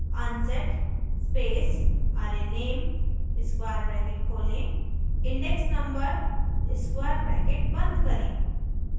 unset space arrayname square bracket खोलें index number square bracket बंद करें